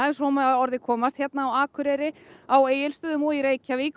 ef svo má að orði komast hér á Akureyri á Egilsstöðum og í Reykjavík